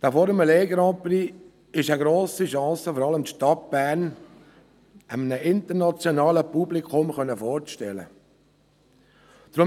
Dieser FormelE-Grand-Prix ist eine grosse Chance, vor allem, um die Stadt Bern einem internationalen Publikum vorstellen zu können.